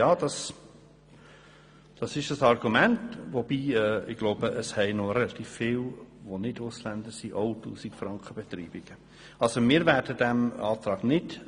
Dies ist ein Argument, wobei noch relativ viele Leute, welche nicht Ausländer sind, auch Beitreibungen von unter 1000 Franken haben dürften.